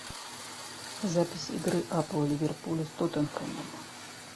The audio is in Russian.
запись игры апл ливерпуля с тоттенхэмом